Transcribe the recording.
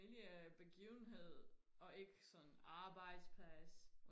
familie begivenhed og ikke sådan arbejdsplads